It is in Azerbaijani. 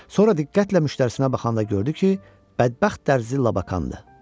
Sonra diqqətlə müştərisinə baxanda gördü ki, bədbəxt dərzi Labakandır.